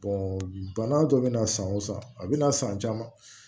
bana dɔ bɛna san o san a bɛna san caman